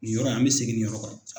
Ni yɔrɔ in, an bɛ segin ni yɔrɔ kan.